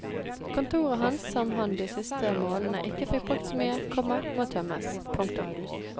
Kontoret hans som han de siste månedene ikke fikk brukt så mye, komma må tømmes. punktum